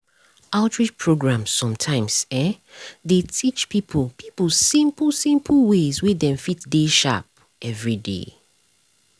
outreach programs sometimes [um][um]dey teach people people simple simple ways wey um dem fit dey sharp everyday.